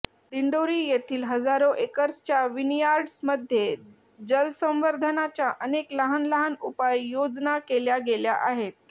दिंडोरी येथील हजारो एकर्सच्या विनीयार्ड्स मध्ये जलसंवर्धनाच्या अनेक लहान लहान उपाय योजना केल्या गेल्या आहेत